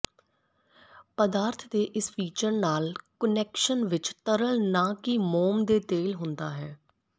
ਪਦਾਰਥ ਦੇ ਇਸ ਫੀਚਰ ਨਾਲ ਕੁਨੈਕਸ਼ਨ ਵਿੱਚ ਤਰਲ ਨਾ ਕਿ ਮੋਮ ਦੇ ਤੇਲ ਹੁੰਦਾ ਹੈ